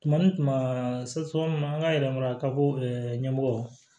Tuma tuma an ka yɛlɛma ka bɔ ɲɛmɔgɔ